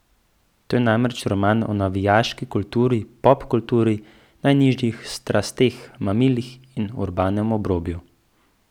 To je namreč roman o navijaški kulturi, pop kulturi, najnižjih strasteh, mamilih in urbanem obrobju.